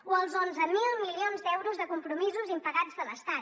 o els onze mil milions d’euros de compromisos impagats de l’estat